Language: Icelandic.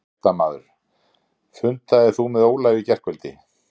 Fréttamaður: Fundaðir þú með Ólafi í gærkvöld?